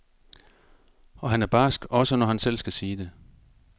Og han er barsk, også når han selv skal sige det.